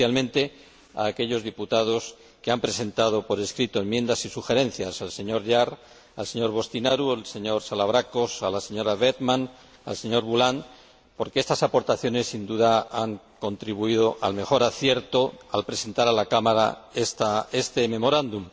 especialmente a aquellos diputados que han presentado por escrito enmiendas y sugerencias al señor Jahr, al señor Boştinaru, al señor Salavrakos, a la señora Werthmann y al señor Boulland, porque estas aportaciones, sin duda, han contribuido al mejor acierto al presentar a la Cámara este memorándum.